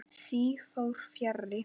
Því fór fjarri.